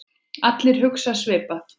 Allir hugsa svipað.